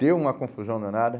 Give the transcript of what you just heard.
Deu uma confusão danada.